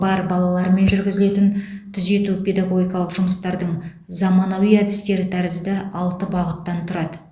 бар балалармен жүргізілетін түзету педагогикалық жұмыстардың заманауи әдістері тәрізді алты бағыттан тұрады